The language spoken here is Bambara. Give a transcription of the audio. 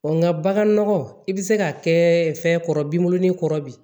nga bagan nɔgɔ i bi se ka kɛ fɛn kɔrɔ binbɔnin kɔrɔ bi